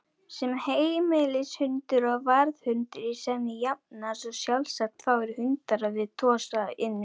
Sem heimilishundur og varðhundur í senn jafnast sjálfsagt fáir hundar á við Tosa Inu.